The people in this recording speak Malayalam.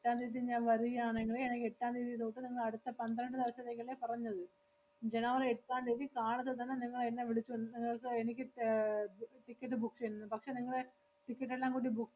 എട്ടാം തീയതി ഞാ~ വരികയാണെങ്കില് എനിക്ക് എട്ടാം തീയതി ദൂസം നിങ്ങളടുത്ത പന്ത്രണ്ട് ദെവസത്തേക്കല്ലേ പറഞ്ഞത്? ജനുവരി എട്ടാം തീയതി car ല് തന്നെ നിങ്ങളെന്നെ വിളിച്ചോ~ നിങ്ങക്ക് എനിക്ക് ഏർ ti~ ticket book ചെയ്യുന്നത്. പക്ഷേ നിങ്ങളെ ticket എല്ലാം കൂടി boo~